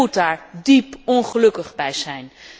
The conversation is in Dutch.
U moet daar diep ongelukkig bij zijn.